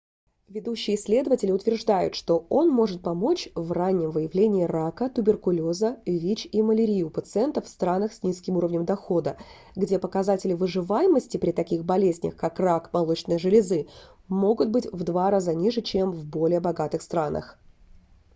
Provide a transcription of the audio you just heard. ведущие исследователи утверждают что он может помочь в раннем выявлении рака туберкулеза вич и малярии у пациентов в странах с низким уровнем дохода где показатели выживаемости при таких болезнях как рак молочной железы могут быть в два раза ниже чем в более богатых странах